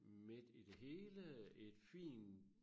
Midt i det hele et fin